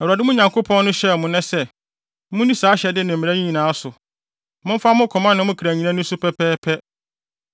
Awurade, mo Nyankopɔn no, hyɛ mo nnɛ sɛ, munni saa ahyɛde ne mmara yi nyinaa so; momfa mo koma ne mo kra nyinaa nni so pɛpɛɛpɛ.